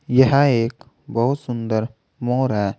यह एक बहुत सुंदर मोर है।